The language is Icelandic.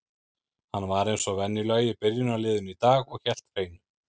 Hann var eins og venjulega í byrjunarliðinu í dag og hélt hreinu.